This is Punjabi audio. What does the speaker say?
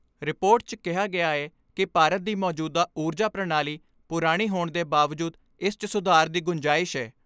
ਰਿਪੋਰਟ 'ਚ ਕਿਹਾ ਗਿਆ ਏ ਕਿ ਭਾਰਤ ਦੀ ਮੌਜੂਦਾ ਊਰਜਾ ਪ੍ਰਣਾਲੀ ਪੁਰਾਣੀ ਹੋਣ ਦੇ ਬਾਵਜੂਦ ਇਸ 'ਚ ਸੁਧਾਰ ਦੀ ਗੁੰਜਾਇਸ਼ ਏ।